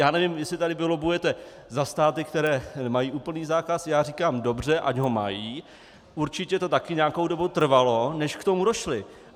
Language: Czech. Já nevím, jestli tady vy lobbujete za státy, které mají úplný zákaz, já říkám dobře, ať ho mají, určitě to také nějakou dobu trvalo, než k tomu došli.